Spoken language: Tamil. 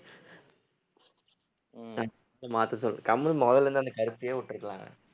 உம் மாத்த சொல்லு கம்முனு மொதல்ல இருந்து அந்த கருப்பையே விட்டிருக்கலாம் அவன்